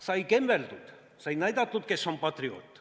Sai kembeldud, sai näidatud, kes on patrioot.